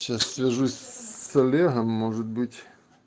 сейчас свяжусь с олегом может быть